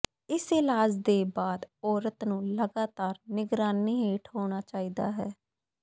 ਇਸ ਇਲਾਜ ਦੇ ਬਾਅਦ ਔਰਤ ਨੂੰ ਲਗਾਤਾਰ ਨਿਗਰਾਨੀ ਹੇਠ ਹੋਣਾ ਚਾਹੀਦਾ ਹੈ